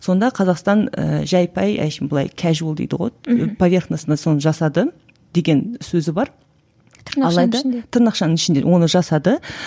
сонда қазақстан ы жай пай әншейін былай дейді ғой поверхностно соны жасады деген сөзі бар тырнақшаның ішінде тырнақшаның ішінде оны жасады